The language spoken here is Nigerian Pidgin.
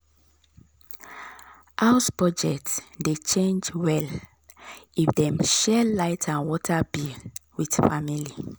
house budget dey change well if dem share light and water bill with family.